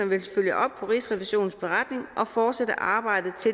vil følge op på rigsrevisionens beretning og fortsætte arbejdet